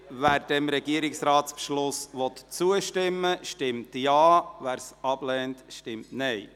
Wer dem Regierungsratsbeschluss zustimmen will, stimmt Ja, wer diesen ablehnt, stimmt Nein.